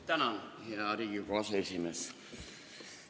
Tänan, hea Riigikogu aseesimees!